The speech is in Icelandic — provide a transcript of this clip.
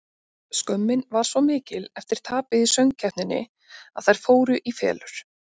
Skömmin var svo mikil eftir tapið í söng-keppninni að þær fóru í felur.